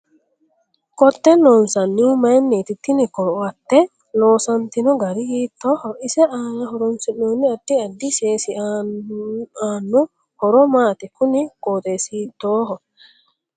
Ko'tte loonsanihu mayiiniti tini ko'atte loosantino gari hiitooho ise aana horoonsinooni addi addi seesi aanno horo maati kuni qooxeesi hiitooho